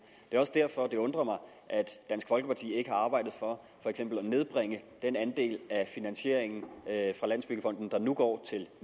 det er også derfor det undrer mig at dansk folkeparti ikke har arbejdet for for eksempel at nedbringe den andel af finansieringen fra landsbyggefonden der nu går til